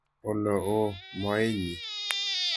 Olo, oo moenyi .